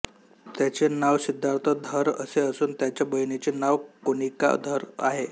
त्याचे नाव सिद्धार्थ धर असे असून त्याच्या बहिणीचे नाव कोनिका धर आहे